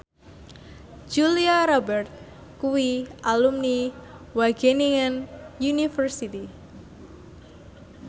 Julia Robert kuwi alumni Wageningen University